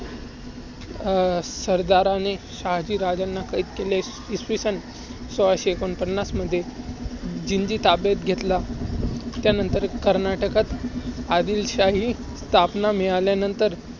अं सरदारने शहाजीराजांना कैद केले. इसवी सन सोळाशे एकोणपन्नास मध्ये जिंजी ताब्यात घेतला. त्यानंतर कर्नाटकात आदिलशाही स्थापना मिळाल्यानंतर,